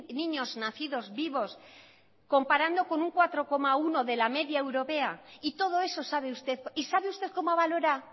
niños nacidos vivos comparando con un cuatro coma uno de la media europea y todo eso sabe usted y sabe usted cómo valora